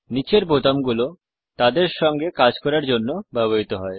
নিচের বোতামগুলো তাদের সঙ্গে কাজ করার জন্য ব্যবহৃত হয়